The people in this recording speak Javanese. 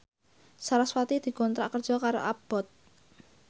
sarasvati dikontrak kerja karo Abboth